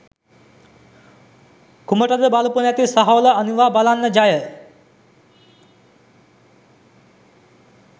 කුමටද බලපු නැති සහෝල අනිවා බලන්න! ~ ජය! ~.